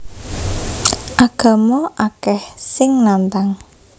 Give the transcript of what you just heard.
Agama akeh sing nantang